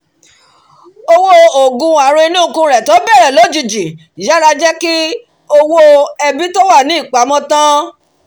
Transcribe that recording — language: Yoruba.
owó oògùn ààrùn inú ikùn rẹ̀ tó bẹ̀rẹ̀ lójijì yàrá jẹ́ kí gbogbo owó ẹbí tó wà ní ìpamọ́ tán